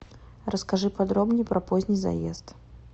расскажи подробней про поздний заезд